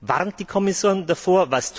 Warnt die Kommission davor?